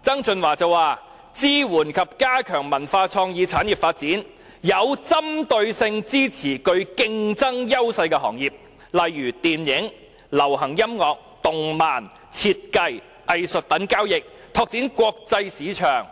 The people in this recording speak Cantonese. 曾俊華也表示要支援及加強文化創意產業發展，有針對性地支持具競爭優勢的行業，例如電影、流行音樂、動漫、設計、藝術品交易，以期拓展國際市場，